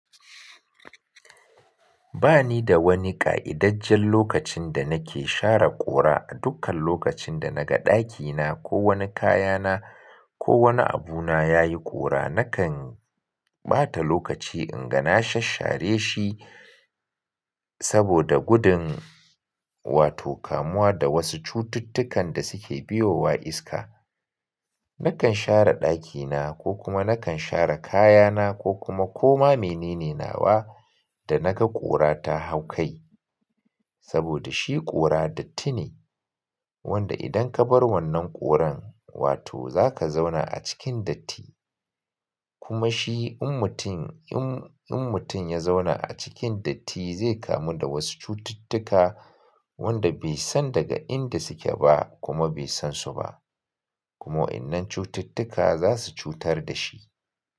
Ba ni da wani ƙa'idajjen lokacin da nake share ƙura A dukkan lokacin da naga ɗakina ko wani kayana ko wani abuna yayi ƙura nakan ɓata lokaci in ga na shashshare shi saboda gudun wato kamuwa da wasu cututtukan da suke biyowa iska. Nakan share ɗakina ko kuma nakan share kayana ko kuma koma mene ne nawa da naga kora ta hau kai saboda shi ƙura datti ne wanda idan kabar wannan ƙuran, wato zaka zauna a cikin datti. Kuma shi in mutum, in, in mutum ya zauna a cikin datti zai kamu da wasu cututtuka wanda bai san daga inda suke ba kuma bai san su ba. Kuma wa'yannan cututtuka za su cutar da shi.